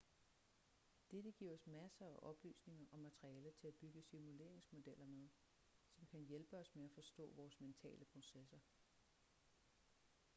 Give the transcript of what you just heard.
dette giver os masser af oplysninger og materialer til at bygge simuleringsmodeller med som kan hjælpe os med at forstå vores mentale processer